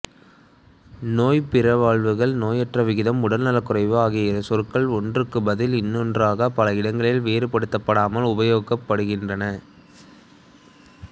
நோய் பிறழ்வுகள் நோயுற்ற விகிதம் உடல்நலக் குறைவு ஆகிய சொற்கள் ஒன்றுக்குப் பதில் இன்னொன்றாகப் பல இடங்களில் வேறுபடுத்தப்படாமல் உபயோகப்படுத்தப்படுகின்றன